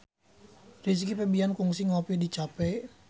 Rizky Febian kungsi ngopi di cafe